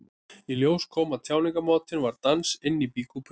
Í ljós kom að tjáningarmátinn var dans inni í býkúpunni.